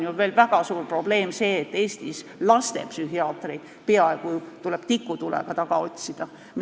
Väga suur probleem on ju veel see, et Eestis tuleb lastepsühhiaatreid peaaegu tikutulega taga otsida.